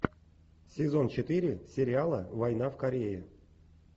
сезон четыре сериала война в корее